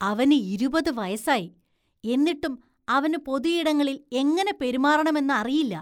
അവന് ഇരുപത് വയസായി, എന്നിട്ടും അവന് പൊതുയിടങ്ങളില്‍ എങ്ങനെ പെരുമാറണമെന്ന് അറിയില്ല.